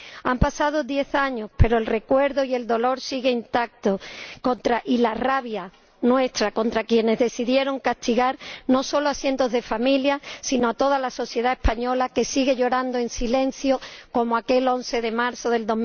Han pasado diez años, pero el recuerdo y el dolor siguen intactos, así como nuestra rabia contra quienes decidieron castigar no solo a cientos de familias, sino a toda la sociedad española, que sigue llorando en silencio como aquel 11 de marzo de